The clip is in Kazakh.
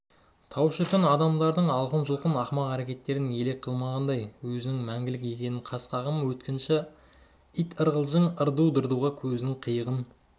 тау шіркін адамдардың алқын-жұлқын ақымақ әрекеттерін елең қылмағандай өзінің мәңгілік екенін қас-қағым өткінші ит-ырғылжың ырду-дырдуға көзінің қиығын